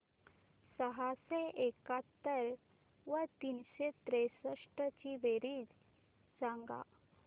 सहाशे एकाहत्तर व तीनशे त्रेसष्ट ची बेरीज सांगा